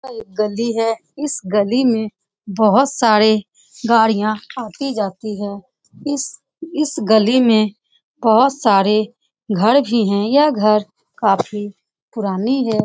यह एक गली है इस गली में बहुत सारे गाड़ियाँ आती जाती है इस इस गली में बहुत सारे घर भी है यह घर काफी पुरानी है।